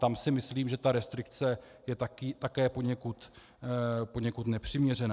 Tam si myslím, že ta restrikce je také poněkud nepřiměřená.